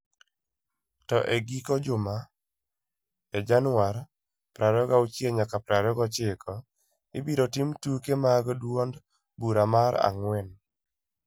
To e giko juma, e Januar 26-29, ibiro tim tuke mag duond bura mar ang'wen.